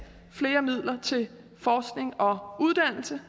flere midler til forskning og uddannelse